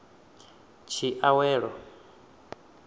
tshiawelo